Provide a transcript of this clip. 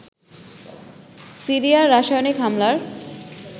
সিরিয়ার রাসায়নিক হামলার